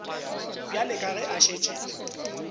bjale ka ge a šetše